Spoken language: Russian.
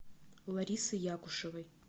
ларисы якушевой